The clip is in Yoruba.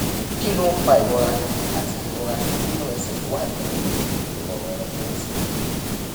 kí ló ń fa ìrora àti ìrora nínú ẹsè tó wà ní òkè ìròrùn ìrẹsè